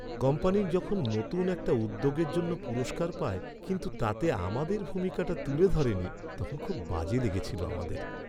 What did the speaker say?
Company যখন নতুন একটা উদ্যোগের জন্য পুরস্কার পায়, কিন্তু তাতে আমাদের ভূমিকাটা তুলে ধরেনি, তখন খুব বাজে লেগেছিল আমাদের।